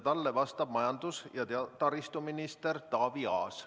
Talle vastab majandus- ja taristuminister Taavi Aas.